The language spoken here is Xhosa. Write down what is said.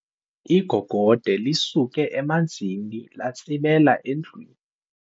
Igogode lisuke emanzini latsibela endlwini.